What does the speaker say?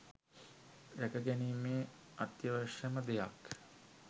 රැකගැනීමේ අත්‍යවශ්‍යම දෙයක්